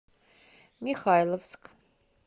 михайловск